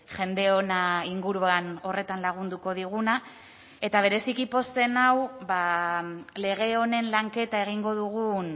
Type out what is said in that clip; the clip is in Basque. jende hona inguruan horretan lagunduko diguna eta bereziki pozten nau lege honen lanketa egingo dugun